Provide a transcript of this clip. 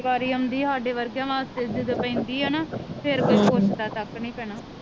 ਸਾਡੇ ਵਰਗੇਆ ਵਾਸਤੇ ਜਦੋ ਪੈਂਦੀ ਆ ਨਾ ਫੇਰ ਕੋਈ ਪੁੱਛਦਾ ਤੱਕ ਨੀ ਭੈਣਾ